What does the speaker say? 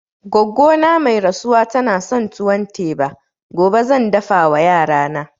Goggo ta mai rasuwa tana son tuwon teba, gobe zan dafa wa yarana